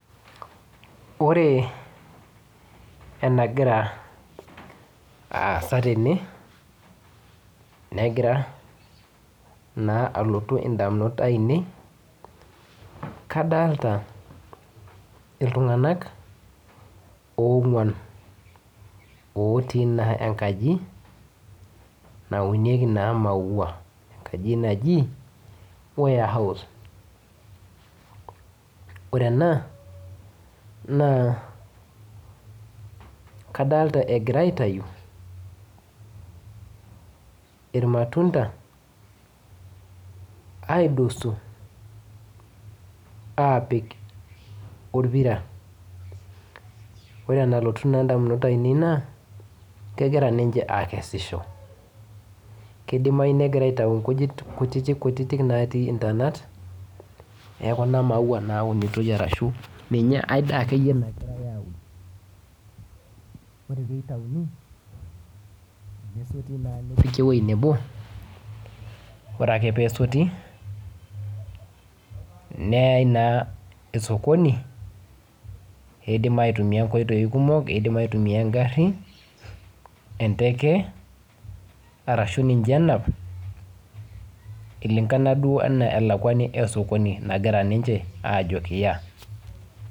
Ore enagira aasa tene negira naa alotu indamunot ainei, kadolita iltung'anak oong'wan otii enkaji naunieki naa maua. Enaji naji warehouse. Ore ena naa kadolita egira aitayu irmatunda aidosu aapik orpira. Ore enalotu naa indamunot ainei naa kegira ninche aakesisho. Kidimayu negira aitayu nkujit kutiti kutiti kutiti natii intonat e kuna maua naunitoi arashu ninye ae daa akeyie nagirai aaun. Ore piitauni, nesoti naa nepiki ewuei nebo, ore ake peesoti neyae naa sokoni iindim aitumia nkoitoi kumok, iindim aitumia engarri, enteke arashu ninye enap eilingana duo enaa elakwani e sokoni nagira ninche aajo kiya